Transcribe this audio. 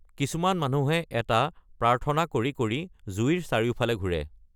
কিছুমান মানুহে এটা প্ৰাৰ্থনা কৰি কৰি জুইৰ চাৰিওফালে ঘূৰি ফুৰে।